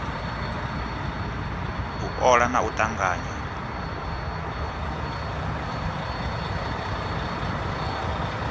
u ola na u tanganya